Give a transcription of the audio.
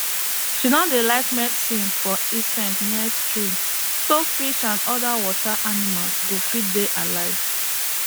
she no dey like medicine for insects near stream so fish and other water animals go fit dey alive